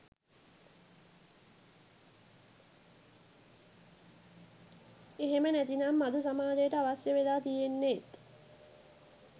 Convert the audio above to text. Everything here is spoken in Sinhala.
එහෙම නැතිනම් අද සමාජයට අවශ්‍ය වෙලා තියෙන්නෙත්